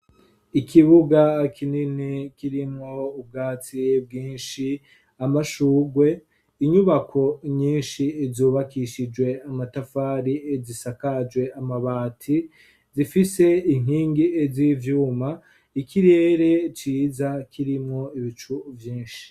Ikibuga kinini kirimwo ubwatsi bwinshi amashurwe inyubako nyinshi zubakishijwe amatafari zisakajwe amabati zifise inkingi z'ivyuma ikirere ciza kirimwo ibicu vyinshi.